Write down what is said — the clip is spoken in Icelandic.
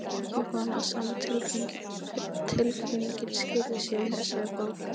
Ég vona að sama tilfinning skili sér í þessari bók.